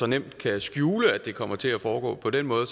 nemt at skjule at det kommer til at foregå på den måde